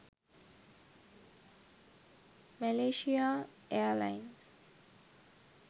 malaysia airlines